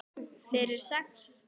Fyrir sex?